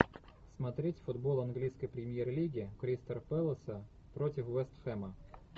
смотреть футбол английской премьер лиги кристал пэласа против вест хэма